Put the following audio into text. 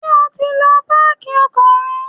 Ṣé o ti lọ páàkì ọkọ̀ rẹ?